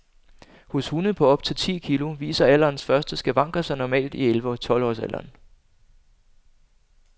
Hos hunde på op til ti kilo viser alderens første skavanker sig normalt i elleve tolv års alderen.